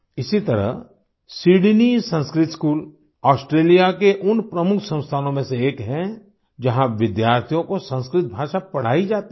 इसी तरह Sydney Sanskrit school Australia के उन प्रमुख संस्थानों में से एक है जहाँ विद्यार्थियों को संस्कृत भाषा पढ़ाई जाती है